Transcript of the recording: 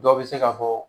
Dɔw bɛ se ka fɔ